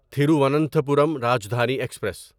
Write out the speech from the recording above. Thiruvananthapuram Rajdhani express